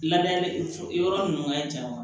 Lada yɔrɔ nunnu ka jan wa